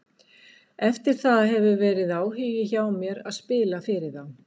Eftir það hefur verið áhugi hjá mér að spila fyrir þá.